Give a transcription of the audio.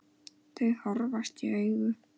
Þau horfast í augu.